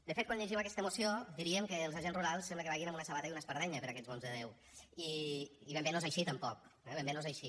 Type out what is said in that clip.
de fet quan llegim aquesta moció diríem que els agents rurals sembla que vagin amb una sabata i una espardenya per aquests mons de déu i ben bé no és així tampoc eh ben bé no és així